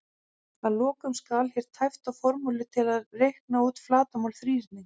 Að lokum skal hér tæpt á formúlu til að reikna út flatarmál þríhyrnings: